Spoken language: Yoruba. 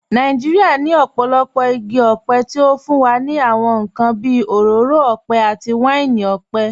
Nàìjíríà ní ọ̀pọ̀lọpọ̀ igi ọ̀pẹ tí ó fún wa ní àwọn nǹkan bí òróró ọ̀pẹ àti wáìnì ọ̀pẹ.